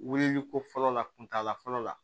Wulili ko fɔlɔ la kuntala fɔlɔ la